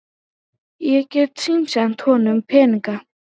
Ég get símsent honum peninga.